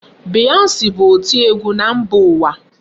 Beyonce bụ oti ọgwụ na mba ụwa.